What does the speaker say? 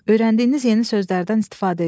Öyrəndiyiniz yeni sözlərdən istifadə edin.